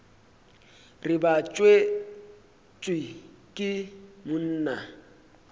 re ba tswetšwe ke monna